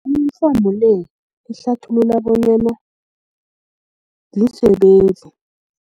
le ihlathulula bonyana ziinsebenzi.